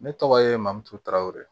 Ne tɔgɔ ye mamutu tarawele